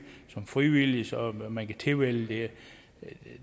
som frivillig så man kan tilvælge